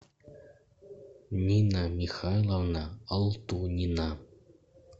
нина михайловна алтунина